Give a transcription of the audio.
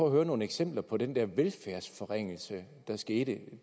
at høre nogle eksempler på den der velfærdsforringelse der skete